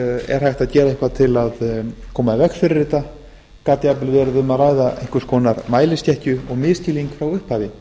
er hægt að gera eitthvað til að koma í veg fyrir þetta gat jafnvel verið um að ræða einhvers konar mæliskekkju og misskilning frá upphafi